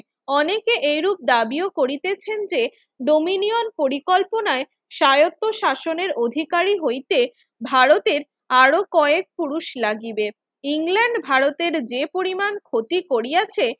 অনেকে এরূপ দাবিও করিতেছেন যে, dominion পরিকল্পনায় স্বায়ত্তশাসনের অধিকারী হইতে ভারতের আরো কয়েক পুরুষ লাগিবে। ইংল্যান্ড ভারতের যে পরিমাণ ক্ষতি করিয়াছে